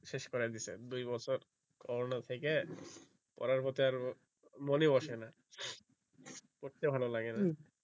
শেষ করাই দিয়েছে দুই বছর corona থেকে পড়ার প্রতি আর মন ই বসে না পড়তে ভালো লাগে না